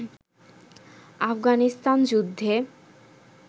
আফগানিস্থান-যুদ্ধে